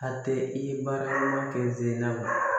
A tɛ i baara ɲuman kɛ zenna